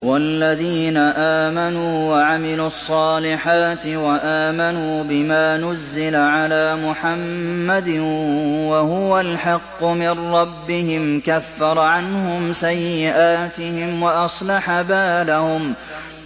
وَالَّذِينَ آمَنُوا وَعَمِلُوا الصَّالِحَاتِ وَآمَنُوا بِمَا نُزِّلَ عَلَىٰ مُحَمَّدٍ وَهُوَ الْحَقُّ مِن رَّبِّهِمْ ۙ كَفَّرَ عَنْهُمْ سَيِّئَاتِهِمْ وَأَصْلَحَ بَالَهُمْ